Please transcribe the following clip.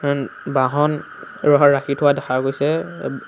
বাহন ৰ হ ৰাখি থোৱা দেখা গৈছে --